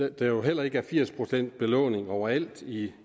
at der heller ikke er firs procent belåning overalt i